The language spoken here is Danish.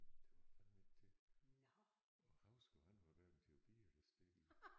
Det var fandeme ikke til og Hausgaard han var hverken til at bide eller stikke i